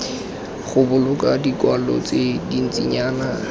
go boloka dikwalo tse dintsinyana